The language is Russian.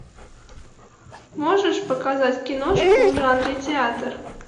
можешь показать киношку в жанре театр